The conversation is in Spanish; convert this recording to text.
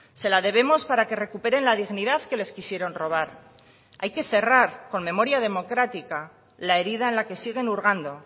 se la debemos para que recuperen la dignidad que les quisieron robar hay que cerrar con memoria democrática la herida en la que siguen hurgando